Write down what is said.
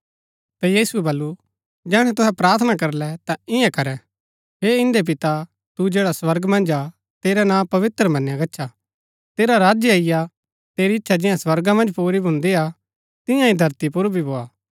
ता यीशुऐ वल्‍लु जैहणै तुहै प्रार्थना करलै ता इआं करै हे इन्दै पिता तू जैडा स्वर्गा मन्ज हा तेरा नां पवित्र मनया गच्छा तेरा राज्य अईआ तेरी इच्छा जियां स्वर्गा मन्ज पुरी भून्दिआ तियां ही धरती पुर भी भोआ